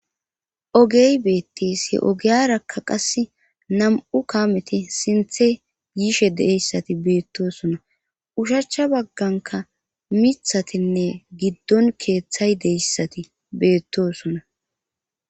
ogey beettishe ogiyarakka qas nam7u kaameti sinthe giishe deyssati beettosona ushachcha bagganka mithatinne giddon keeththay deyssati beettosona